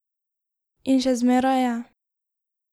In še zmeraj je.